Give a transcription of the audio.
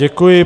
Děkuji.